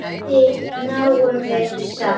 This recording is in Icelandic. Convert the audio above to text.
Við náum þeim samt!